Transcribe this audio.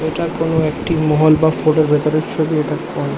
এটা কোন একটি মহল বা ফোর্ট - এর ভেতরের ছবি এটা কোন--